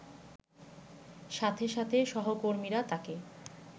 সাথে সাথে সহকর্মীরা তাকে